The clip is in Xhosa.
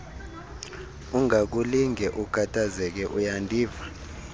ungakulinge ukhathazeke uyandiva